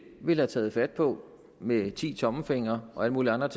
ville have taget fat på med ti tommelfingre og alt muligt andet